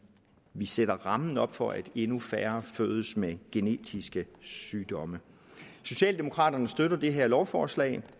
sætter rammen op for at endnu færre fødes med genetiske sygdomme socialdemokraterne støtter det her lovforslag